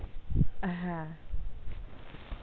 হ্যাঁ।